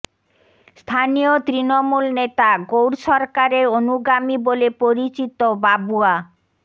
স্থানীয় তৃণমূল নেতা গৌর সরকারের অনুগামী বলে পরিচিত বাবুয়া